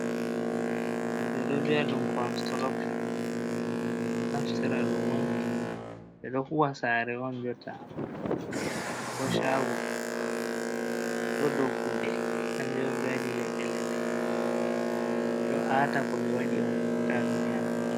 Ɗo ɓe ɗo viyaɗun konsturukshon, to ɓe ɗo naftara ɗum on ɓe ɗo huwan sare on jotta, sare ko chago , ɗo ɗom ɗo dow kuɗe, kanjom waɗi ɓewaɗi leɗɗe leɗɗe no ɓe ɗo ata ko ɓe waɗi on ta ɗum Yana.